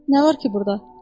Nə var ki burda?